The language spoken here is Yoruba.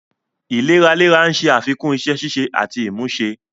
Ìléraléra ń ṣe àfikún iṣẹ́ ṣíṣe àti ìmúṣe.